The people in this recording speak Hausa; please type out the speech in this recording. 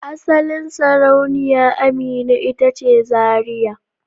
Asalin Sarauniya Amina ita ce Zaria.